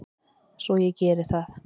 Svo ég geri það.